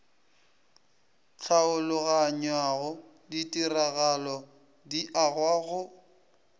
tlhaologanyao ditiragalo di agwa go